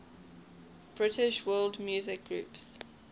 british world music groups